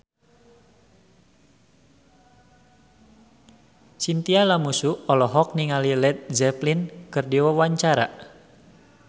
Chintya Lamusu olohok ningali Led Zeppelin keur diwawancara